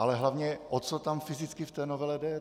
Ale hlavně o co tam fyzicky v té novele jde?